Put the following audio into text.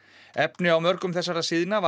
efni á mörgum þessara síðna var